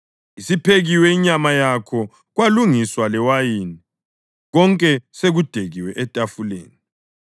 Isiphekiwe inyama yakho kwalungiswa lewayini; konke sekudekiwe etafuleni.